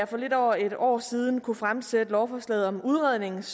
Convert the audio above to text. for lidt over et år siden kunne fremsætte lovforslaget om udrednings